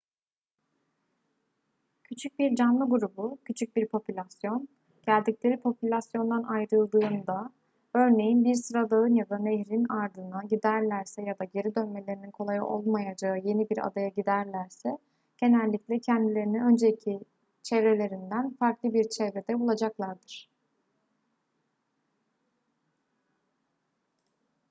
küçük bir canlı grubu küçük bir popülasyon geldikleri popülasyondan ayrıldığında örneğin bir sıradağın ya da nehrin ardına giderlerse ya da geri dönmelerinin kolay olmayacağı yeni bir adaya giderlerse genellikle kendilerini önceki çevrelerinden farklı bir çevrede bulacaklardır